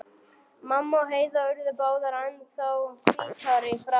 Mamma og Heiða urðu báðar ennþá hvítari í framan.